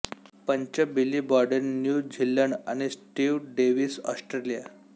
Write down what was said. पंच Billy Bowden New Zealand आणि Steve Davis Australia